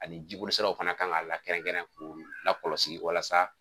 Ani jibolisiraw fana kan ka lakɛrɛnkɛrɛn k'u lakɔlɔsi walasa